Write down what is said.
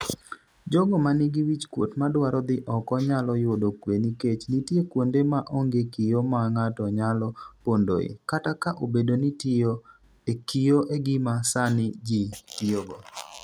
jogo manigi wichkuot madwaro dhi oko nyalo yudo kwe nikech nitie kwonde ma onge kio ma ng'ato nyalo pondoe, kata ka obedo ni tiyo e kio e gima sani ji tiyogo